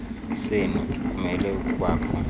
senu kumele ukubakho